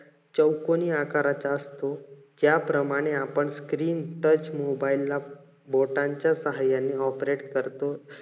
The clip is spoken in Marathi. चौकोनी आकाराचा असतो. ज्यापणाने आपण screen touch mobile ला बोटांच्या साहाय्याने operate करतो.